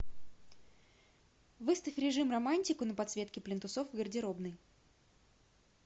выставь режим романтику на подсветке плинтусов в гардеробной